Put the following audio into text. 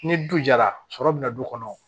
Ni du jara sɔrɔ bi na du kɔnɔ